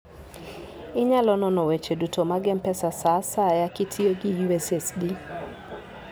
Inyalo nono weche duto mag M-Pesa sa asaya kitiyo gi USSD.